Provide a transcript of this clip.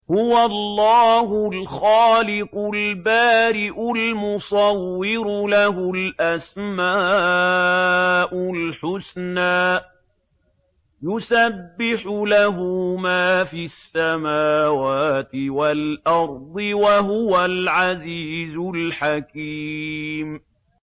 هُوَ اللَّهُ الْخَالِقُ الْبَارِئُ الْمُصَوِّرُ ۖ لَهُ الْأَسْمَاءُ الْحُسْنَىٰ ۚ يُسَبِّحُ لَهُ مَا فِي السَّمَاوَاتِ وَالْأَرْضِ ۖ وَهُوَ الْعَزِيزُ الْحَكِيمُ